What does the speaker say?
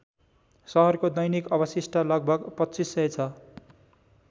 सहरको दैनिक अवशिष्ट लगभग २५०० छ ।